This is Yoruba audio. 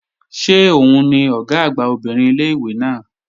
Ṣé òun ni Ọ̀gá àgbà obìnrin ilé-ìwé náà?